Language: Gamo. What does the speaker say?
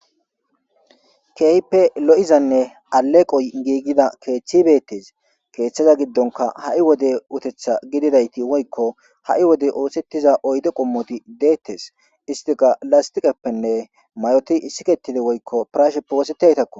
Keype lo'izanne aleqoy giigida keeththibeettes keeththeza giddonka ha'i wode utetha gididayti woykko ha'i wode oosettiza oyde qommoti deettes istiqa lastiqeppenne mayoti issiketide woykko prashe poosetaytakko.